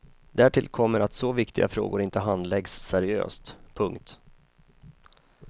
Därtill kommer att så viktiga frågor inte handläggs seriöst. punkt